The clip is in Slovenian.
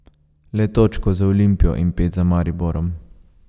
Le točko za Olimpijo in pet za Mariborom.